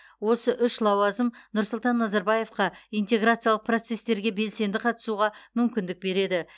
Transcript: осы үш лауазым нұрсұлтан назарбаевқа интеграциялық процестерге белсенді қатысуға мүмкіндік береді